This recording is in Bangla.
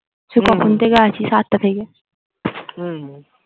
হম সেই কখন থেকে আছি সাতটা থেকে হম